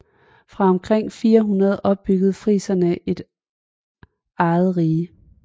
Fra omkring 400 opbyggede friserne et eget rige